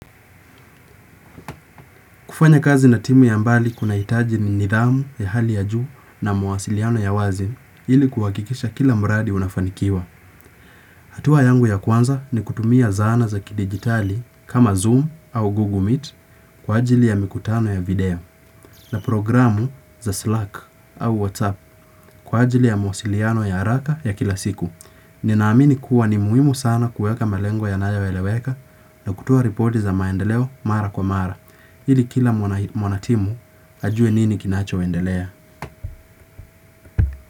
Kufanya kazi na timu ya mbali kuna hitaji ni nidhamu ya hali ya juu na mawasiliano ya wazi ili kuwakikisha kila mradi unafanikiwa. Hatua yangu ya kwanza ni kutumia zana za kidigitali kama Zoom au Google Meet kwa ajili ya mikutano ya video na programu za Slack au WhatsApp kwa ajili ya mwasiliano ya haraka ya kila siku. Ni naamini kuwa ni muhimu sana kueka malengo yanayoeleweka na kutoa ripoti za maendeleo mara kwa mara. Hili kila mwanatimu ajue nini kinacho endelea.